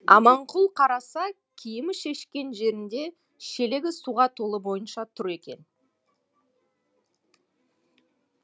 аманқұл қараса киімі шешкен жерінде шелегі суға толы бойынша тұр екен